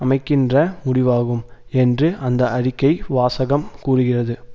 அமைக்கின்ற முடிவாகும் என்று அந்த அறிக்கை வாசகம் கூறுகிறது